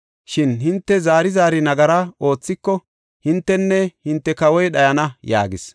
Shin hinte zaari zaari nagara oothiko, hintenne hinte kawoy dhayana” yaagis.